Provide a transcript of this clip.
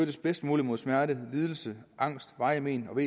bedst muligt mod smerte lidelse angst varigt men og